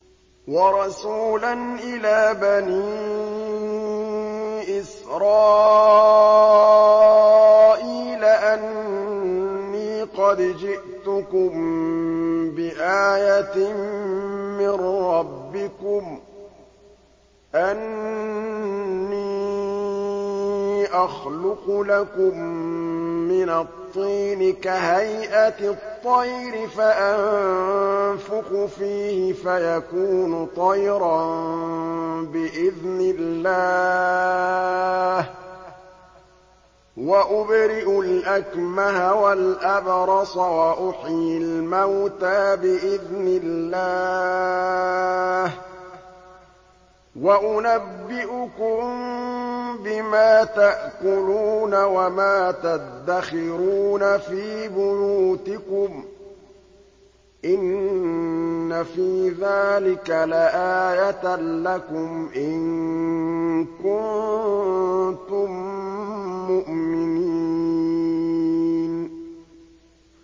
وَرَسُولًا إِلَىٰ بَنِي إِسْرَائِيلَ أَنِّي قَدْ جِئْتُكُم بِآيَةٍ مِّن رَّبِّكُمْ ۖ أَنِّي أَخْلُقُ لَكُم مِّنَ الطِّينِ كَهَيْئَةِ الطَّيْرِ فَأَنفُخُ فِيهِ فَيَكُونُ طَيْرًا بِإِذْنِ اللَّهِ ۖ وَأُبْرِئُ الْأَكْمَهَ وَالْأَبْرَصَ وَأُحْيِي الْمَوْتَىٰ بِإِذْنِ اللَّهِ ۖ وَأُنَبِّئُكُم بِمَا تَأْكُلُونَ وَمَا تَدَّخِرُونَ فِي بُيُوتِكُمْ ۚ إِنَّ فِي ذَٰلِكَ لَآيَةً لَّكُمْ إِن كُنتُم مُّؤْمِنِينَ